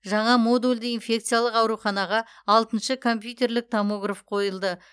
жаңа модульді инфекциялық ауруханаға алтыншы компьютерлік томограф қойылды